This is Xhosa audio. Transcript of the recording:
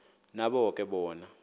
nabo ke bona